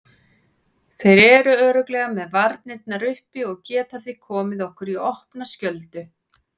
Þeir eru örugglega með varnirnar uppi og geta því komið okkur í opna skjöldu.